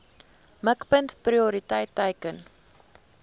mikpunt prioriteit teiken